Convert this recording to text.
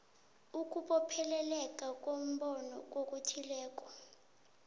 ukubopheleleka kombono kokuthileko